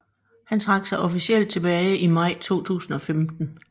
Han trak sig officielt tilbage i maj 2015